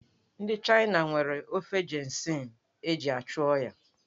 Ndị China nwere ofe ginseng eji achụ oyi.